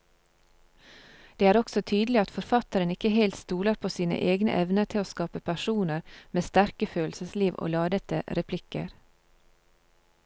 Det er også tydelig at forfatteren ikke helt stoler på sine egne evner til å skape personer med sterke følelsesliv og ladete replikker.